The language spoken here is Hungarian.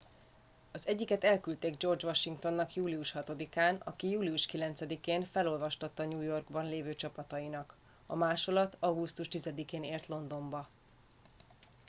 az egyiket elküldték george washingtonnak július 6 án aki július 9 én felolvastatta new yorkban lévő csapatainak a másolat augusztus 10 én ért londonba